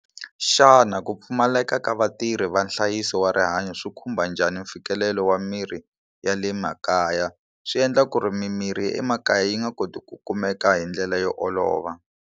Xana ku pfumaleka ka vatirhi va nhlayiso wa rihanyo swi khumba njhani mfikelelo wa mirhi ya le makaya swi endla ku ri mimirhi ya emakaya yi nga koti ku kumeka hi ndlela yo olova.